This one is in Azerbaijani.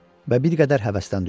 Və bir qədər həvəsdən düşdü.